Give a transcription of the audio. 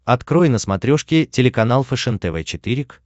открой на смотрешке телеканал фэшен тв четыре к